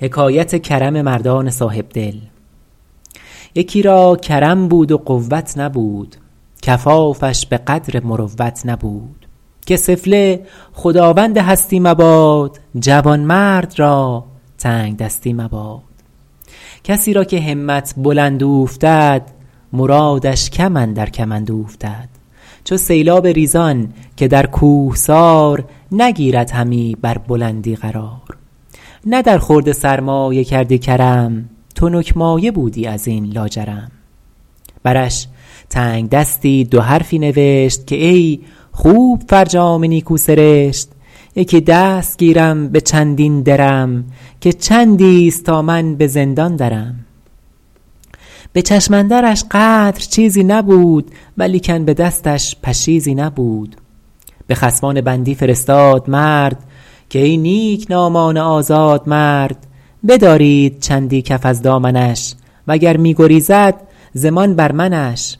یکی را کرم بود و قوت نبود کفافش به قدر مروت نبود که سفله خداوند هستی مباد جوانمرد را تنگدستی مباد کسی را که همت بلند اوفتد مرادش کم اندر کمند اوفتد چو سیلاب ریزان که در کوهسار نگیرد همی بر بلندی قرار نه در خورد سرمایه کردی کرم تنک مایه بودی از این لاجرم برش تنگدستی دو حرفی نبشت که ای خوب فرجام نیکو سرشت یکی دست گیرم به چندین درم که چندی است تا من به زندان درم به چشم اندرش قدر چیزی نبود ولیکن به دستش پشیزی نبود به خصمان بندی فرستاد مرد که ای نیکنامان آزاد مرد بدارید چندی کف از دامنش و گر می گریزد ضمان بر منش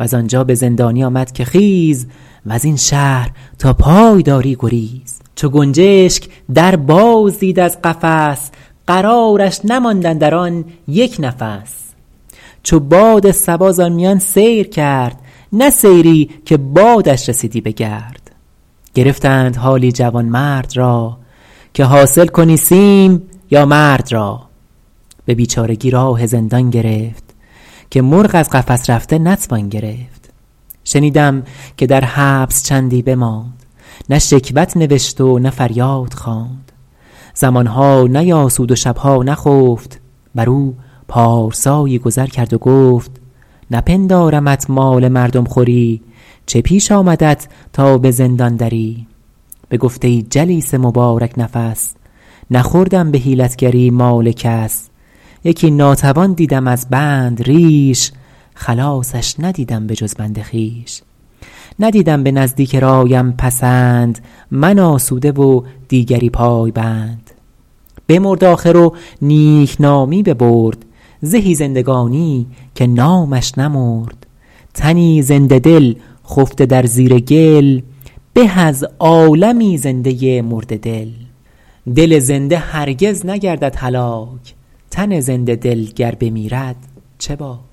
وز آنجا به زندانی آمد که خیز وز این شهر تا پای داری گریز چو گنجشک در باز دید از قفس قرارش نماند اندر آن یک نفس چو باد صبا زآن میان سیر کرد نه سیری که بادش رسیدی به گرد گرفتند حالی جوانمرد را که حاصل کن این سیم یا مرد را به بیچارگی راه زندان گرفت که مرغ از قفس رفته نتوان گرفت شنیدم که در حبس چندی بماند نه شکوت نوشت و نه فریاد خواند زمانها نیاسود و شبها نخفت بر او پارسایی گذر کرد و گفت نپندارمت مال مردم خوری چه پیش آمدت تا به زندان دری بگفت ای جلیس مبارک نفس نخوردم به حیلتگری مال کس یکی ناتوان دیدم از بند ریش خلاصش ندیدم به جز بند خویش ندیدم به نزدیک رایم پسند من آسوده و دیگری پایبند بمرد آخر و نیکنامی ببرد زهی زندگانی که نامش نمرد تنی زنده دل خفته در زیر گل به از عالمی زنده مرده دل دل زنده هرگز نگردد هلاک تن زنده دل گر بمیرد چه باک